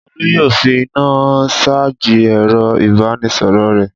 Olú yóò fi iná ṣájì ẹ̀rọ-ìbánisọ̀rọ̀ rẹ̀.